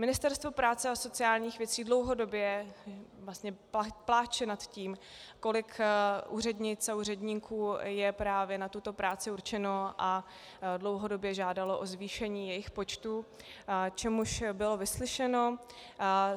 Ministerstvo práce a sociálních věcí dlouhodobě vlastně pláče nad tím, kolik úřednic a úředníků je právě na tuto práci určeno, a dlouhodobě žádalo o zvýšení jejich počtu, což bylo vyslyšeno.